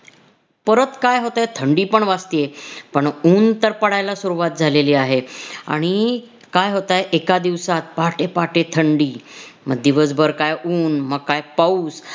परत काय होतय थंडी पण वाजतीये पण ऊन तर पडायला सुरवात झालेली आहे आणि काय होतय एका दिवसात पहाटे पहाटे थंडी मग दिवसभर काय ऊन म काय पाऊस